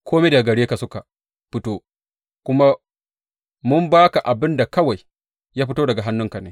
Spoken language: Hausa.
Kome daga gare ka suka fito, kuma mun ba ka abin da kawai ya fito daga hannunka ne.